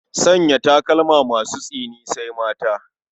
Sanya takalma masu tsini sai mata.